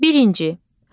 Birinci.